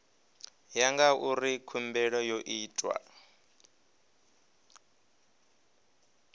ya ngauri khumbelo yo itwa